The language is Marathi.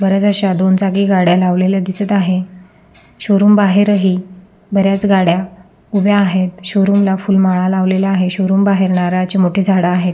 बऱ्याच अश्या दोन चाकी गाड्या लावलेल्या दिसत आहे शोरूम बाहेर ही बऱ्याच गाड्या उभ्या आहेत शोरूम ला फूल माळा लावलेल्या आहेत शोरूम बाहेर नारळाची झाड आहेत.